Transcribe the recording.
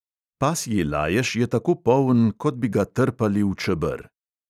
Pasji lajež je tako poln, kot bi ga trpali v čeber.